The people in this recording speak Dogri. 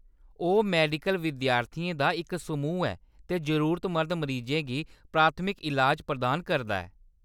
ओह्‌‌ मैडिकल विद्यार्थियें दा इक समूह् ऐ ते जरूरतमंद मरीजें गी प्राथमिक ईलाज प्रदान करदा ऐ।